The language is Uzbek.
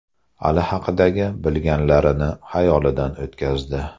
Ali haqidagi bilgilanlarini xayolidan o‘tkazdi.